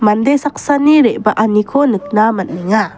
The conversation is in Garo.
mande saksani re·baaniko nikna man·enga.